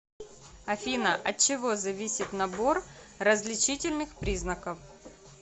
афина от чего зависит набор различительных признаков